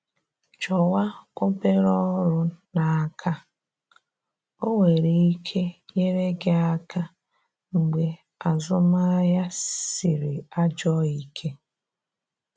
Chọwa obere ọrụ n’aka, o nwere ike nyere gị aka mgbe azụmahịa sịrị ajọ ike